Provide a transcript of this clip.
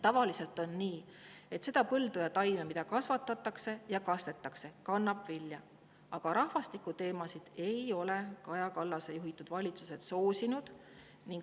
Tavaliselt on nii, et see põld või taim, mida kasvatatakse ja kastetakse, kannab vilja, aga rahvastikuteemasid ei ole Kaja Kallase juhitud valitsused soosinud.